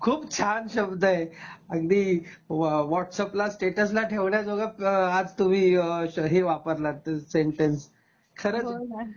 खूप छान शब्द आहे अगदी व्हॉट्सअप ला स्टेटस ठेवण्याजोगा आ आज तुम्ही हे वापरलात सेंटेन्स खरंच